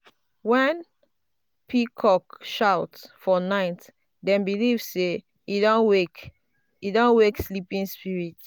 when um peacock shout for night dem um believe say um e dey wake sleeping spirits.